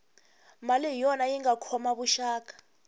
mali hi yona yinga khoma vuxaka